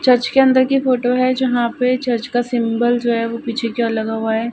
Church के अंदर कि फोटो है जहाँ पे चर्च का सिंबल जो है पीछे कि ओर लगा हुआ है।